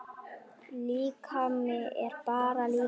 Líkami er bara líkami.